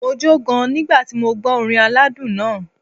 Mo jó gan nígbà tí mo gbọ́ orin aládùn náà.